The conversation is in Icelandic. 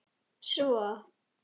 Svo?